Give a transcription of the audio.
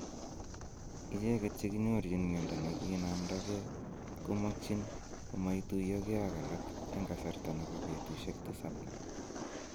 Icheget che kinyorchin miondo ne kinomndogee komokyin komoituiyogee ak alak en kasarta nebo betusiek tisap